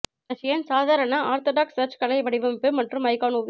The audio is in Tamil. ரஷியன் சாதாரண ஆர்த்தடாக்ஸ் சர்ச் கலை வடிவமைப்பு மற்றும் ஐகான் ஓவியம்